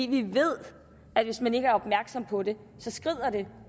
vi ved at hvis man ikke er opmærksom på det så skrider det